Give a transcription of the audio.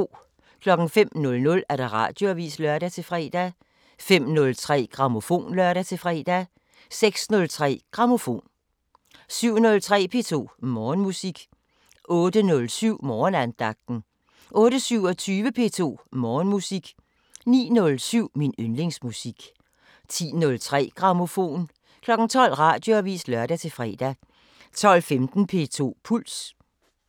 05:00: Radioavisen (lør-fre) 05:03: Grammofon (lør-fre) 06:03: Grammofon 07:03: P2 Morgenmusik 08:07: Morgenandagten 08:27: P2 Morgenmusik 09:07: Min yndlingsmusik 10:03: Grammofon 12:00: Radioavisen (lør-fre) 12:15: P2 Puls